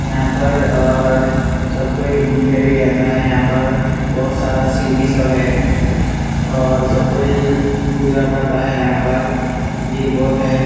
यहाँ पर और सबको ही घुमने भी आता है यहाँ पर बहुत सारा सीढ़ी सब है और सबको ही पूजा करता है यहाँ पर भीड़ बहुत है।